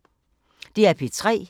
DR P3